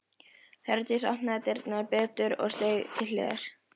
Hjördís opnaði dyrnar betur og steig til hliðar.